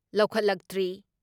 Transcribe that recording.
ꯂꯧꯈꯠꯂꯛꯇ꯭ꯔꯤ ꯫